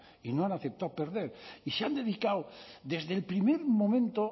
y no han aceptado perder y se han dedicado desde el primer momento